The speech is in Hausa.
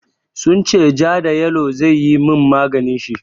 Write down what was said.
Sun ce ja da yalo zai yi min maganin shi.